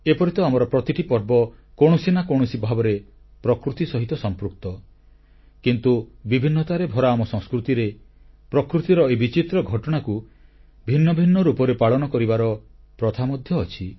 ଏପରି ତ ଆମର ପ୍ରତିଟି ପର୍ବ କୌଣସି ନା କୌଣସି ଭାବରେ ପ୍ରକୃତି ସହିତ ସମ୍ପୃକ୍ତ କିନ୍ତୁ ବିଭିନ୍ନତାରେ ଭରା ଆମ ସଂସ୍କୃତିରେ ପ୍ରକୃତିର ଏହି ବିଚିତ୍ର ଘଟଣାକୁ ଭିନ୍ନ ଭିନ୍ନ ରୂପରେ ପାଳନ କରିବାର ପ୍ରଥା ମଧ୍ୟ ଅଛି